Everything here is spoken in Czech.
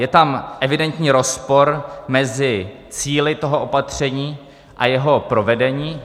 Je tam evidentní rozpor mezi cíli toho opatření a jeho provedení.